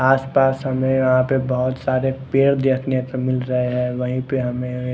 आस पास हमे यहाँ पर बहोत सारे पेड़ देखने को मिल रहे है वही पर हमे--